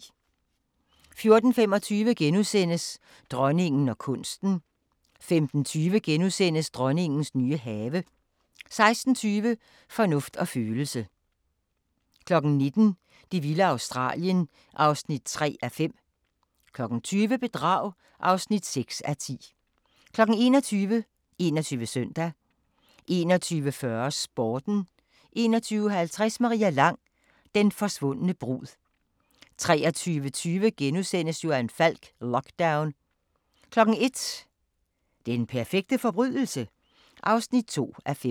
14:25: Dronningen og kunsten * 15:20: Dronningens nye have * 16:20: Fornuft og følelse 19:00: Det vilde Australien (3:5) 20:00: Bedrag (6:10) 21:00: 21 Søndag 21:40: Sporten 21:50: Maria Lang: Den forsvundne brud 23:20: Johan Falk: Lockdown * 01:00: Den perfekte forbrydelse? (2:5)